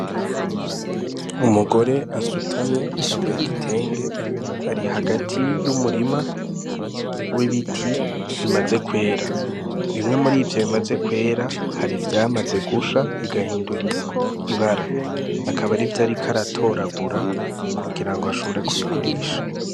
Umugore asutamye yambaye igitenge ari hagati y'umurima w'ibiti bimaze kwera bimwe muri vyo bimaze kwera hari ivyamaze gusha bigahindura ibara akaba arivyo ariko aratoragura kugirango ashobore kubigurisha.